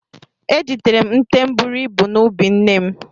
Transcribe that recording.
Ejidere m nte buru ibu n'ubi nne m.